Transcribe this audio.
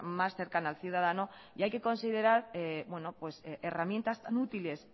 más cercana al ciudadano y hay que considerar herramientas tan útiles